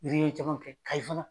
caman kɛ Kayi fana.